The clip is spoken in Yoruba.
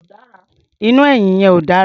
Iná ẹ̀yìn yẹn ò dára.